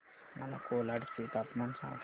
मला कोलाड चे तापमान सांगा